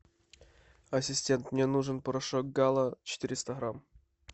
ассистент мне нужен порошок гала четыреста грамм